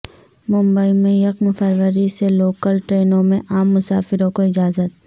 ممبئی میں یکم فروری سے لوکل ٹرینوں میں عام مسافروں کو اجازت